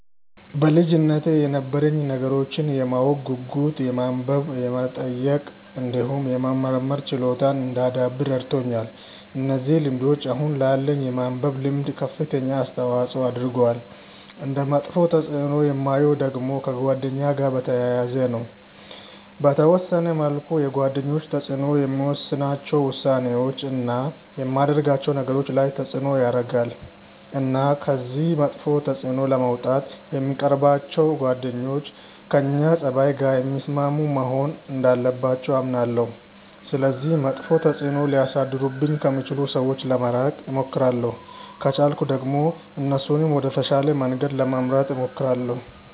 በልጅነቴ የነበረኝ ነገሮችን የማወቅ ጉጉት የማንበብ የመጠየቅ እንዲሁም የመመርመር ችሎታን እንዳዳብር ረድቶኛል። እነዚህ ልምዶች አሁን ላለኝ የማንበብ ልምድ ከፍተኛ አስተዋጽዖ አድርገዋል። እንደ መጥፎ ተፅእኖ የማየው ደግሞ ከጓደኛ ጋር በተያያዘ ነው። በተወሰነ መልኩ የጓደኞች ተጽእኖ የምወስናቸው ውሳኔዎች፣ እና የማደርጋቸው ነገሮች ላይ ተጽእኖ ያረጋል። እና ከዚህ መጥፎ ተጽእኖ ለመውጣት የምንቀርባቸው ጓደኞች ከእኛ ፀባይ ጋር የሚስማሙ መሆን እንዳለባቸው አምናለሁ። ስለዚህ መጥፎ ተጽእኖ ሊያሳድሩብኝ ከሚችሉ ሰዎች ለመራቅ እሞክራለሁ። ከቻልኩ ደግሞ እነሱንም ወደ ተሻለ መንገድ ለመምራት እሞክራለሁ።